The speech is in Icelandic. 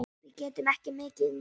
Við getum ekki mikið meir.